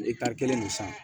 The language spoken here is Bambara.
kelen nin san